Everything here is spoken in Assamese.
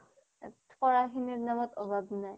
পঢ়া শুনাৰ সময়ত অভাৱ শুনাই